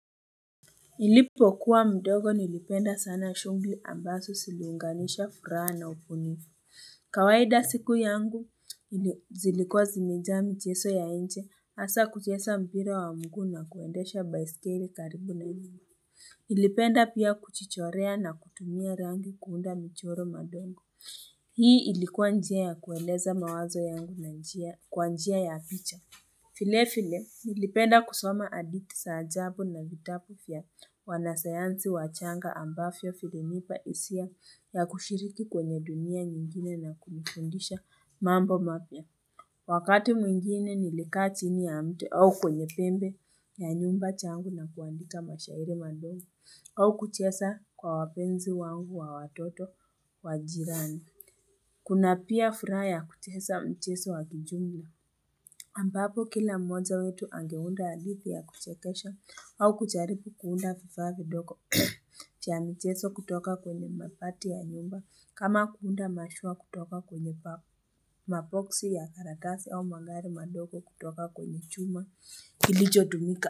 Nilipokuwa mdogo nilipenda sana shughli ambaso siliunganisha furaha na upunifu. Kawaida siku yangu zilikuwa zimejaa mijeso ya inje asa kujesa mpira wa muguu na kuendesha baiskeli karibu na ilimu. Nilipenda pia kuchichorea na kutumia rangi kuunda michoro madogo. Hii ilikuwa njia ya kueleza mawazo yangu na kwa njia ya picha. File file nilipenda kusoma aditi saa jabu na vitapu fya wanasayansi wachanga ambafyo filinipa isia ya kushiriki kwenye dunia nyingine na kunifundisha mambo mapya. Wakati mwingine nilikaa chini mte au kwenye pembe ya nyumba changu na kuandika mashahiri mandogo au kuchesa kwa wapenzi wangu wa watoto wajirani. Kuna pia furaha ya kuchesa mcheso wa kijumla ambapo kila mmojaa wetu angeunda adithi ya kuchekesha au kucharipu kuunda vivaa vidoko Chia mcheso kutoka kwenye mapati ya nyumba kama kuunda mashua kutoka kwenye papo Mapoksi ya tharatafi au magari madoko kutoka kwenye chuma Kilijo dumika.